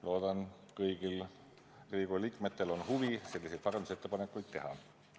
Loodan, et kõigil Riigikogu liikmetel on huvi parandusettepanekuid teha.